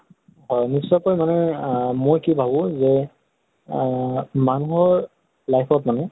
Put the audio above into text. হয়। নিশ্চয় কৈ মানে আহ মই কি ভাবো যে আহ মানুহৰ life ত মানে